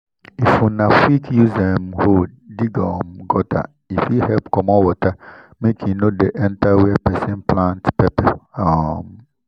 if una quick use um hoe dig um gutter e fit help comot water make e no go dey enter where person plant pepper. um